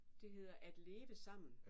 Det hedder at leve sammen